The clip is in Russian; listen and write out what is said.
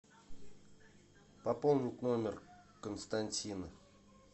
пополнить номер константина